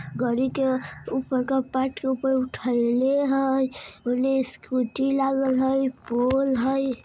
गाड़ी के ऊपर का पार्ट ऊपर के उठैले हइ ओने स्कूटी लागल हइ पोल हैं।